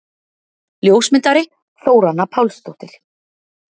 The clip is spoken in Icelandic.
Ljósmyndari: Þóranna Pálsdóttir.